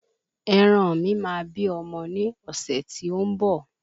Ẹran mi máa bí ọmọ ní ọ̀sẹ̀ tí ó ń bọ̀